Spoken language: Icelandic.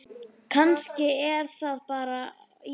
Kannski er það bara ég?